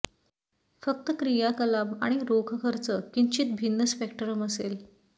फक्त क्रियाकलाप आणि रोख खर्च किंचित भिन्न स्पेक्ट्रम असेल